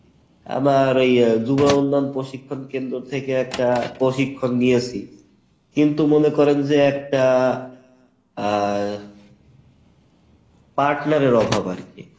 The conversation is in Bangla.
আমি ঐই যুবউন্নয়ন প্রশিক্ষণ কেন্দ্র থেকে একটা প্রশিক্ষণ নিয়েছি কিন্তু মনে করেন যে একটা আহ partner এর অভাব আরকি।